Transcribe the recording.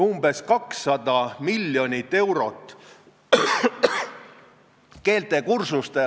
Minu meelest ei ole laupkokkupõrget, vaid ma iseloomustaksin seda võib-olla selliselt, et parem käsi ei tea, mida vasak käsi teeb.